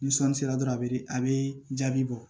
Ni sɔɔni sera dɔrɔn a bɛ a bɛ jaabi bɔ